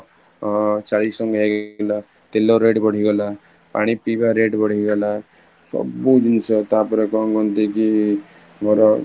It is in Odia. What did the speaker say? ଅ ଚାଳିଶ ଟଙ୍କା ହେଇ ଗଲା, ତେଲ rate ବଢି ଗଲା, ପାଣି ପିଇବା rate ବଢି ଗଲା, ସବୁ ଜିନିଷ ତାପରେ କଣ କହନ୍ତି କି ଘର